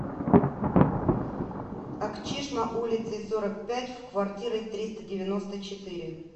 акчишма улицей сорок пять в квартирой триста девяносто четыре